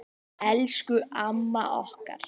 Elsku amma okkar.